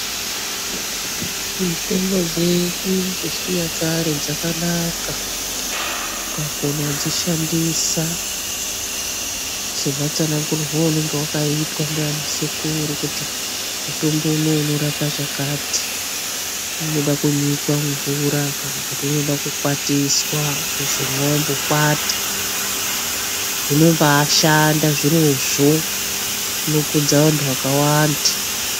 Mitombo dzedu dzechinyakare dzakanaka ukakona kudzishandisa sematsanangurirwe auenge wakaitwa naanasekuru kuti mutombo umu unorape chakati unoda kunyikwa mimvura, wozomwa wambokwata. Zvinombaashanda zvirozvo, zvinokudza vanhu vakawanda.